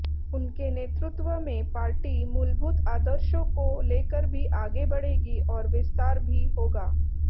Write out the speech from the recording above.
उनके नेतृत्व में पार्टी मूलभूत आदर्शो को लेकर भी आगे बढ़ेगी और विस्तार भी होगा